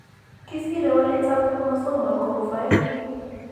Kisire waletap chromosomal ko uu 5p.